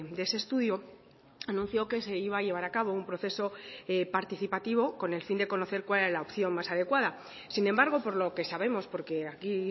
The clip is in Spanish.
de ese estudio anunció que se iba a llevar a cabo un proceso participativo con el fin de conocer cuál es la opción más adecuada sin embargo por lo que sabemos porque aquí